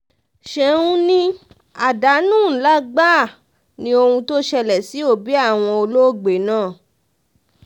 ṣẹ́un ni àdánù ńlá gbáà ní ohun tó ṣẹlẹ̀ sí òbí àwọn olóògbé náà